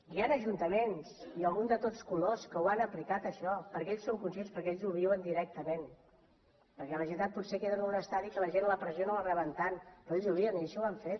hi han ajuntaments i alguns de tots colors que ho han aplicat això perquè ells en són conscients perquè ells ho viuen directament perquè la generalitat potser queda en un estadi que la gent la pressió no la reben tant però ells ho viuen i així ho han fet